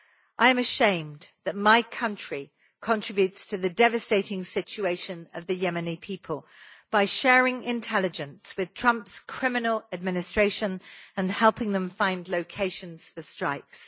I am ashamed that my country contributes to the devastating situation of the Yemeni people by sharing intelligence with Trump's criminal administration and helping them find locations for strikes.